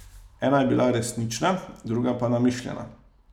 Ena je bila resnična, druga pa namišljena.